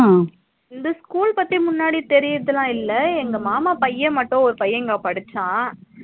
இந்த school பத்தி முன்னாடி தெரியுரதுல இல்ல எங்க மாமா பைய மட்டும் ஒரு பைய இங்க படிச்சா